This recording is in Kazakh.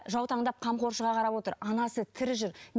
жаутаңдап қамқоршыға қарап отыр анасы тірі жүр